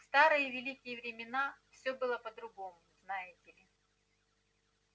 в старые великие времена все было по-другому знаете ли